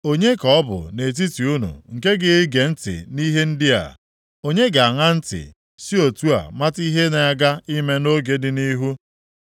Onye ka ọ bụ nʼetiti unu nke ga-ege ntị nʼihe ndị a? Onye ga-aṅa ntị si otu a mata ihe na-aga ime nʼoge dị nʼihu?